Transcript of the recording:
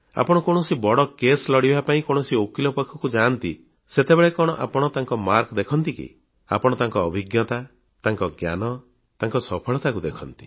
ଆପଣ କୌଣସି ବଡ଼ ମୋକଦ୍ଦମା ଲଢ଼ିବା ପାଇଁ କୌଣସି ଓକିଲ ପାଖକୁ ଯାଆନ୍ତି ସେତେବେଳେ କଣ ତାଙ୍କ ମାର୍କ ଶୀତ୍ ଦେଖନ୍ତି କି ଆପଣ ତାଙ୍କ ଅଭିଜ୍ଞତା ତାଙ୍କ ଜ୍ଞାନ ତାଙ୍କ ସଫଳତାକୁ ଦେଖନ୍ତି